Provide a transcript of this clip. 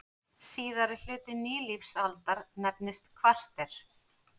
Síðari hluti nýlífsaldar nefnist kvarter.